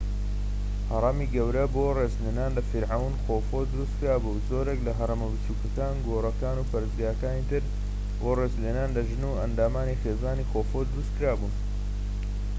هەڕەمی گەورە بۆ ڕێزلێنان لە فیرعەون خۆفو دروستکرا بوو و زۆرێک لە هەرەمە بچووکەکان گۆڕەکان و پەرستگاکانی تر بۆ ڕێزلێنان لە ژن و ئەندامانی خێزانی خۆفو دروستکرا بوون